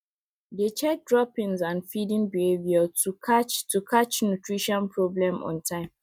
dey check droppings and feeding behavior to catch to catch nutrition problem on time